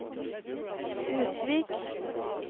Utvik